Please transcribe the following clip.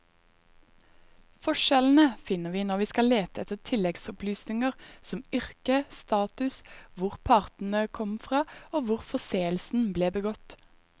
Forskjellene finner vi når vi skal lete etter tilleggsopplysninger som yrke, status, hvor partene kom fra og hvor forseelsen ble begått.